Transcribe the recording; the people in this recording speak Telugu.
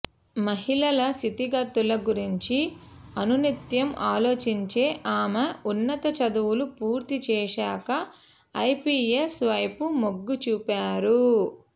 మహిళల స్థితిగతుల గురించి అనునిత్యం ఆలోచించే ఆమె ఉన్నత చదువులు పూర్తి చేశాక ఐపిఎస్ వైపు మొగ్గు చూపారు